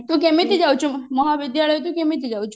ତୁ କେମିତି ଯାଉଛୁ ମହାବିଦ୍ୟାଳୟ ତୁ କେମିତି ଯାଉଛୁ